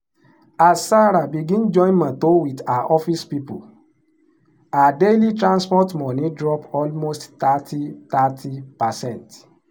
as sarah begin join motor with her office people her daily transport money drop almost thirty thirty percent.